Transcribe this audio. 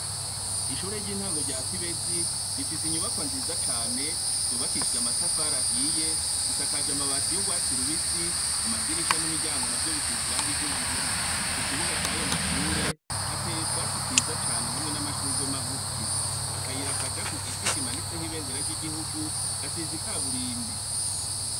Ishure ry'intango rya Kibezi rifise inyubakwa nziza cane zubakishije amatafari ahiye zisakajwe amabati y'urwatsi rubisi, amadirisha n'imiryango navyo bisize irangi ry'ubururu, ikibuga cayo mashure hateye utwatsi twiza cane hamwe n'amashurwe magufi, akayira kaja ku giti kimanitseko ibendera ry'igihugu gasize ikaburimbi.